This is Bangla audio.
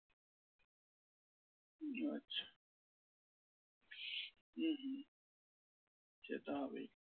আচ্ছা হম হম সে তো হবেই।